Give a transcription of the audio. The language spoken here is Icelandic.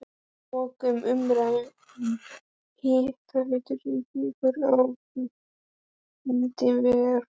Að loknum umræðum um Hitaveitu Reykjavíkur á fundum í Verkfræðingafélagi